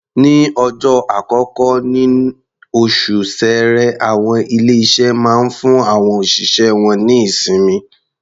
Ní ọjọ́ àkọ́kọ́ níní oṣù Ṣẹẹrẹ, àwọn ilé-iṣé máa ń fún àwọn òṣìṣẹ́ wọ́n ní ìsinmi.